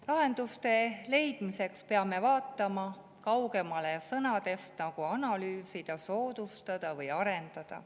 Lahenduste leidmiseks peame vaatama kaugemale sellistest sõnadest nagu "analüüsida", "soodustada" või "arendada".